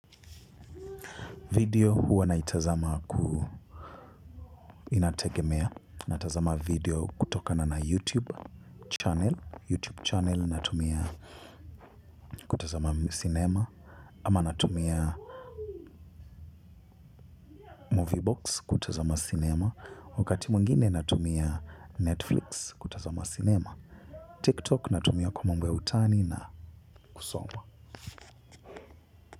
Video huwa naitazama ku inategemea. Natazama video kutokana na YouTube channel. YouTube channel natumia kutazama cinema. Ama natumia Vbox kutazama cinema. Wakati mwingine natumia Netflix kutazama cinema TikTok natumia kwa mambo ya utani na kusoma.